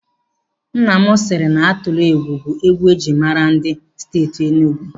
Nna m siri na Atilọgwụ bụ egwu ejiri maara ndị Steeti Enugu.